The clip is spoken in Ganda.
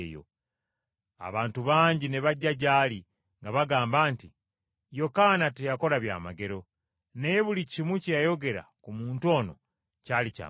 Abantu bangi ne bajja gy’ali nga bagamba nti, “Yokaana teyakola byamagero, naye buli kimu kye yayogera ku muntu ono kyali kya mazima.”